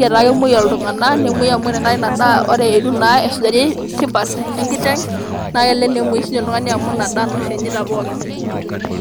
,mmaniki etaa kemwoi iltunganak